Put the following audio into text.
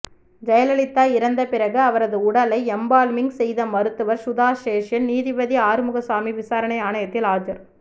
ஜெயலலிதா இறந்த பிறகு அவரது உடலை எம்பால்மிங் செய்த மருத்துவர் சுதா சேஷய்யன் நீதிபதி ஆறுமுகசாமி விசாரணை ஆணையத்தில் ஆஜர்